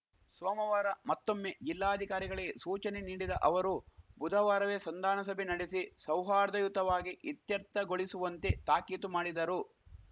ಸೋಮವಾರ ಮತ್ತೊಮ್ಮೆ ಜಿಲ್ಲಾಧಿಕಾರಿಗಳಿಗೆ ಸೂಚನೆ ನೀಡಿದ ಅವರು ಬುಧವಾರವೇ ಸಂಧಾನ ಸಭೆ ನಡೆಸಿ ಸೌಹಾರ್ದಯುತವಾಗಿ ಇತ್ಯರ್ಥಗೊಳಿಸುವಂತೆ ತಾಕೀತು ಮಾಡಿದರು